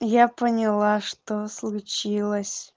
я поняла что случилось